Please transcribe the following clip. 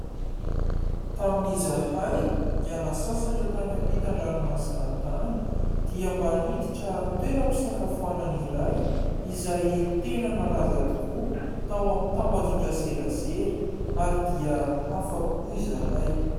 Tamin'izahay niala sasatra tany ampitan-dranomasina tany dia mba niditra toeram-pisakafoanana iray izay tena nalaza tokoa tao amin'ny tambazotra an-tserasera ary dia afapo izahay.